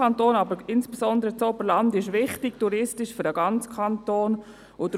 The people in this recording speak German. Insbesondere das Oberland ist touristisch für den ganzen Kanton wichtig.